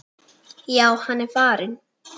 Já, hann er farinn